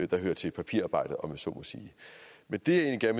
der hører til papirarbejdet om jeg så må sige men det jeg